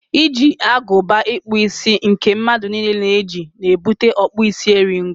iji agụba ịkpụ isi nke mmadụ niile na-eji na ebute ọkpụ isi eri ngo.